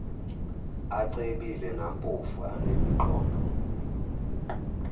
acebile nampofu anemiqondo